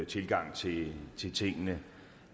tilgang til tingene